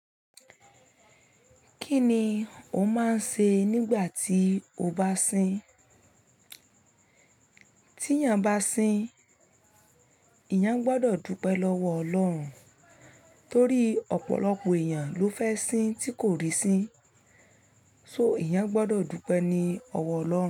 Kí ni o máa ń ṣe nígbà tí o bá sin? Tí èyàn bá sin, èyàn gbọ́dọ̀ dúpẹ́ lọ́wọ́ Ọlọ́run. Torí ọ̀pọ̀lọpọ̀ èyàn ló fẹ́ sin tí kò rí sin. So èyàn gbọ́dọ̀ dúpẹ́ ni ọwọ́ Ọlọ́run.